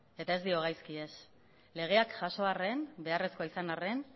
eta ez dio gaizki ez legeak jaso arren beharrezko izan arren